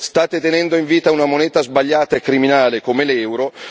state tenendo in vita una moneta sbagliata e criminale come l'euro.